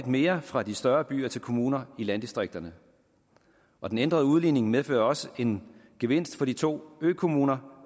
mere fra de større byer til kommuner i landdistrikterne og den ændrede udligning medfører også en gevinst for de to økommuner